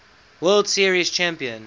world series champion